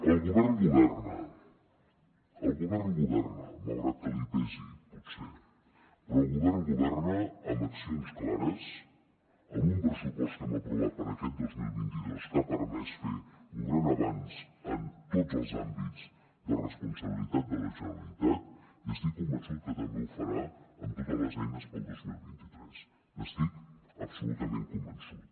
el govern governa el govern governa malgrat que li pesi potser però el govern governa amb accions clares amb un pressupost que hem aprovat per aquest dos mil vint dos que ha permès fer un gran avanç en tots els àmbits de responsabilitat de la generalitat i estic convençut que també ho farà amb totes les eines pel dos mil vint tres n’estic absolutament convençut